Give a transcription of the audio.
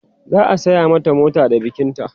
za'a saya mata mota da bikin ta